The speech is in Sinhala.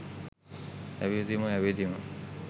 ඇවිදිමු ඇවිදිමු